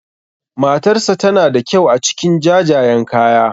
Matarsa tana da kyau a cikin jajayen kaya.